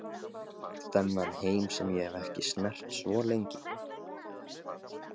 Þennan heim sem ég hef ekki snert svo lengi.